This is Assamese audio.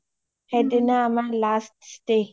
সেইদিনা আমাৰ last stay